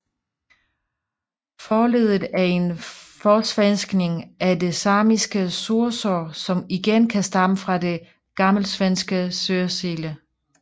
Forleddet er en forsvenskning af det samiske Soursså som igen kan stamme fra det gammelsvenske Sörsele